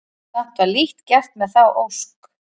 Samt var lítt gert með þá ósk.